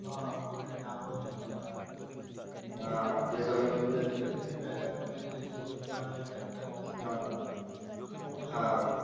हां हां तिकडे नाम रोशन केलंय. पण लिहून येते. कधी कधी बॅनर पण येते. कोणी दुकानाबिकानचा पॅम्प्लेट .